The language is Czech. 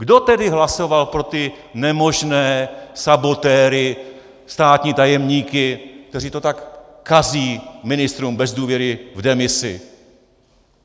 Kdo tedy hlasoval pro ty nemožné sabotéry, státní tajemníky, kteří to tak kazí ministrům bez důvěry v demisi?